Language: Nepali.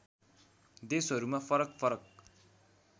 देशहरूमा फरक फरक